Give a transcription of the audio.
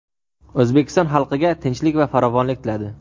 O‘zbekiston xalqiga tinchlik va farovonlik tiladi.